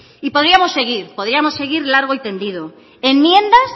y podríamos seguir podríamos seguir largo y tendido enmiendas